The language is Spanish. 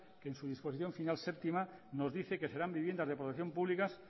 que en su disposición final séptima nos dice que serán viviendas de protección pública